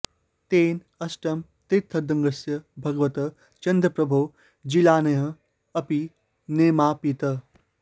तेन अष्टम तीर्थङ्करस्य भगवतः चन्द्रप्रभोः जिनालयः अपि निर्मापितः